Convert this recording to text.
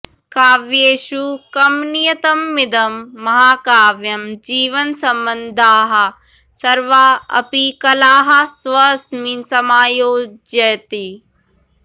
काव्येषु कमनीयतममिदं महाकाव्यं जीवनसम्बद्धाः सर्वा अपि कलाः स्वस्मिन् समायोजयति